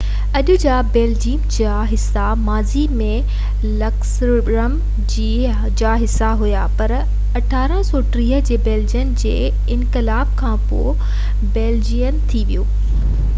اڄ جا بيلجيم جا حصا ماضي ۾ لڪسمبرگ جا حصا هئا پر 1830 جي بيلجين جي انقلاب کانپوءِ بيلجين ٿي ويو